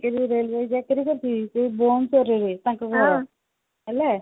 ଚାକିରି railway ଚାକିରି କରିଛି ସେ ଭୁବନେଶ୍ବର ରେ ତାଙ୍କ ଘର ହେଲା